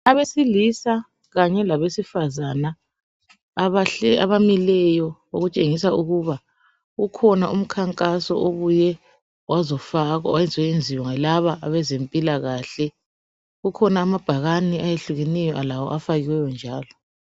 Abesilisa kanye labesifazana abahle abamileyo okutshengisa ukuba ukhona umkhankaso obuye wazofakwa wazoyenziwa yilaba abezempilakahle kukhona amabhakane ayehlukeneyo lawo afakiweyo njalo .